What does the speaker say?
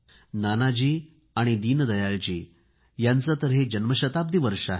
नानाजी आणि दीनदयाळजी यांचे तर हे जन्मशताब्दी वर्ष आहे